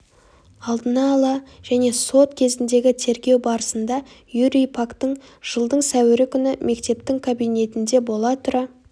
алдына ала және сот кезіндегі тергеу барысында юрий пактің жылдың сәуірі күні мектептің кабинетінде бола тұра